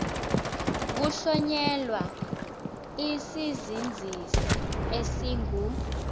kuhlonyelwa isizinzisi esingu